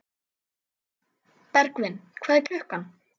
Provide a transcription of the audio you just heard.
Bergvin, hvað er klukkan?